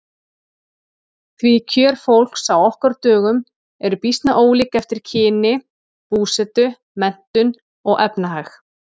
Því kjör fólks á okkar dögum eru býsna ólík eftir kyni, búsetu, menntun og efnahag.